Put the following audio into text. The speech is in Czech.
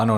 Ano.